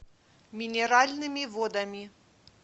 минеральными водами